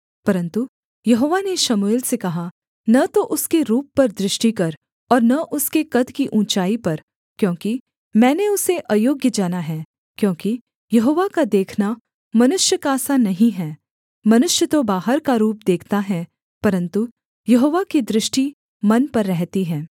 परन्तु यहोवा ने शमूएल से कहा न तो उसके रूप पर दृष्टि कर और न उसके कद की ऊँचाई पर क्योंकि मैंने उसे अयोग्‍य जाना है क्योंकि यहोवा का देखना मनुष्य का सा नहीं है मनुष्य तो बाहर का रूप देखता है परन्तु यहोवा की दृष्टि मन पर रहती है